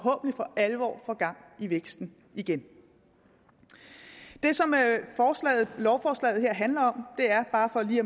alvor får gang i væksten igen det som lovforslaget handler om bare for lige